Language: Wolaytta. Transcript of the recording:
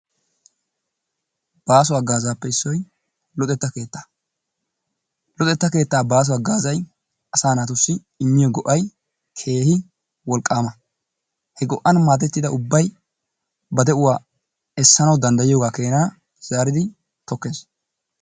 Baaso hagaazaappe issoy luxetta keettaa. Luxettaa keettaa baaso hagaazay asa naatussi immiyo go'ay keehi wolqqaama. He go'an maadettida ubbay ba de'uwaa essanawu daddayiyoogaa keena zaaridi tokkees.